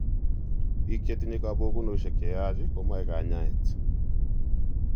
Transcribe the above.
Biik chetinye kabokunosiek cheyaach komoe kanyaet